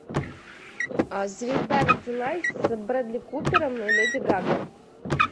звезда родилась с брэдли купером и леди гагой